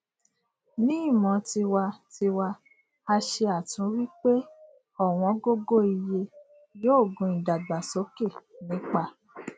ni imo tiwa tiwa a se atunwi pe owongogo iye yoo gun idagbasoke nipa